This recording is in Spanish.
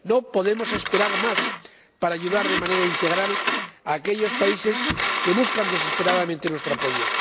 No podemos esperar más para ayudar de manera integral a aquellos países que buscan desesperadamente nuestro apoyo.